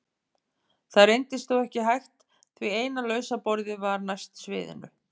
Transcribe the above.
Það reyndist þó ekki hægt því eina lausa borðið var næst sviðinu.